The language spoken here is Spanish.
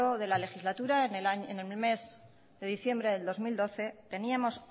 de la legislatura en el mes de diciembre del dos mil doce teníamos